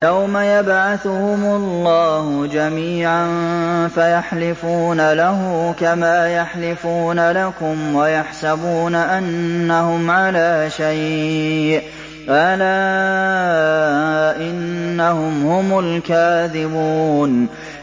يَوْمَ يَبْعَثُهُمُ اللَّهُ جَمِيعًا فَيَحْلِفُونَ لَهُ كَمَا يَحْلِفُونَ لَكُمْ ۖ وَيَحْسَبُونَ أَنَّهُمْ عَلَىٰ شَيْءٍ ۚ أَلَا إِنَّهُمْ هُمُ الْكَاذِبُونَ